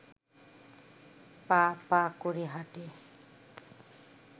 পা পা করে হাঁটে